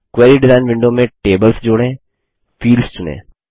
query design window में tables जोड़ेंफील्ड्स चुनें